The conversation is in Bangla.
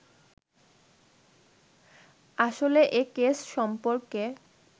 আসলে এ কেস সম্পর্কে